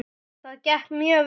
Það gekk mjög vel.